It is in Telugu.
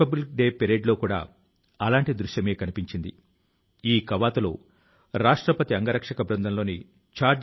ఈ నిఘంటువు లో చేర్చిన 70 వేలకు పైగా సంస్కృత పదాలను సెర్బియన్ భాష లోకి అనువదించారు